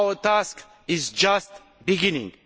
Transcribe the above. Our task is just beginning.